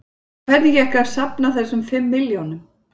En hvernig gekk að safna þessum fimm milljónum?